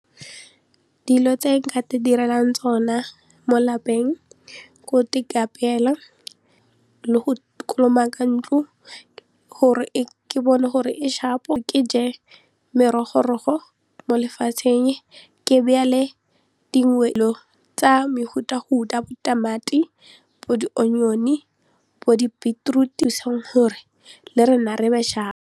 Dilo tse nka itirelang tsona mo lapeng ko ikapeela le go kolomaka ntlo gore ke bone gore e sharp-o ke je merogorogo mo lefatsheng ke tsa mefutafuta ya bo di tamati, bo di-onion-e, bo di-beetroot le rona re be sharpo.